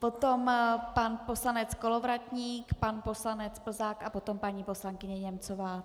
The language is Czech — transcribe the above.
Potom pan poslanec Kolovratník, pan poslanec Plzák a potom paní poslankyně Němcová.